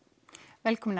velkominn